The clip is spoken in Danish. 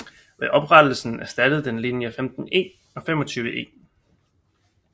Ved oprettelsen erstattede den linje 15E og 25E